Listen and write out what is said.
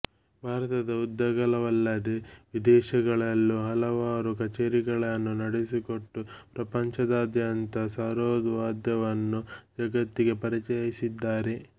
ಭಾರತದ ಉದ್ದಗಲವಲ್ಲದೆ ವಿದೇಶಗಳಲ್ಲೂ ಹಲವಾರು ಕಛೇರಿಗಳನ್ನು ನಡೆಸಿಕೊಟ್ಟು ಪ್ರಪಂಚದಾದ್ಯಂತ ಸರೋದ್ ವಾದ್ಯವನ್ನು ಜಗತ್ತಿಗೆ ಪರಿಚಯಿಸಿದ್ದಾರೆ